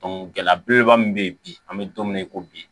gɛlɛya belebeleba min be yen bi an be don min na i ko bi